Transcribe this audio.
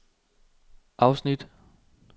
afsnit